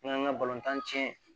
N'an ka balontan tiɲɛ